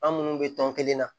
An munnu bɛ tɔn kelen na